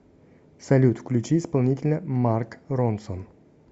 салют включи исполнителя марк ронсон